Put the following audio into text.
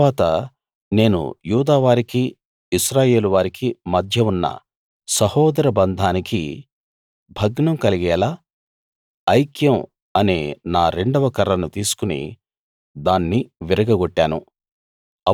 తరువాత నేను యూదా వారికి ఇశ్రాయేలు వారికి మధ్య ఉన్న సహోదర బంధానికి భగ్నం కలిగేలా ఐక్యం అనే నా రెండవ కర్రను తీసుకుని దాన్ని విరగగొట్టాను